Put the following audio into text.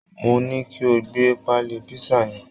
Mo ní kí o gbé pálí písà yẹn